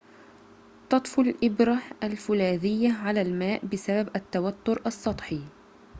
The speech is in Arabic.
تطفو الإبرة الفولاذيّة على الماء بسبب التوتّر السطحي